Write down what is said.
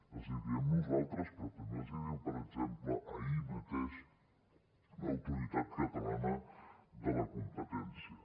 els hi diem nosaltres però també els hi diu per exemple ahir mateix l’autoritat catalana de la competència